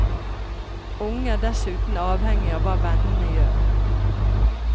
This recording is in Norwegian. Unge er dessuten avhengig av hva vennene gjør.